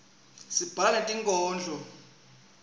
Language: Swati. sibhala netinkhondlo